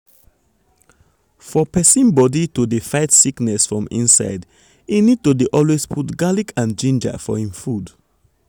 for persin body to dey fight sickness from inside e need to dey always put garlic and ginger for hin food.